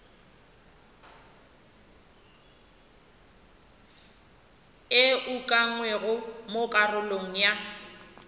e ukangwego mo karolong ya